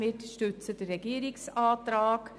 Wir unterstützen den Regierungsantrag.